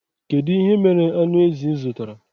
Kedụ ihe mere aṅụ ezi ịzụtara?